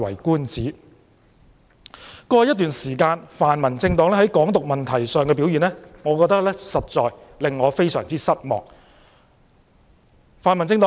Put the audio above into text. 過去一段時間，泛民政黨在"港獨"問題上的表現，實在令我覺得非常失望。